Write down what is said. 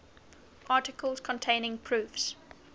articles containing proofs